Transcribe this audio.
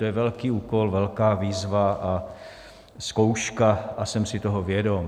To je velký úkol, velká výzva a zkouška a jsem si toho vědom.